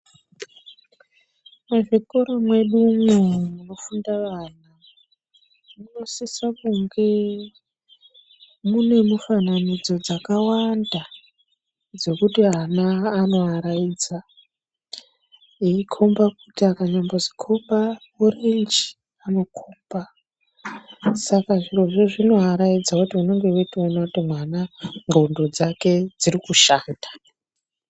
Muzvikora mwedumo munofunda vana ,munosisa kunge munemufananidzo dzakawanda dzokuti ana anovaraidza nekukomba, kuti akambonzikomba ichi anokomba, saka zvirozvozvo zvinovaraidza kuti unenge uchitowona kuti mwana ngqondo dzake dzirikushanda .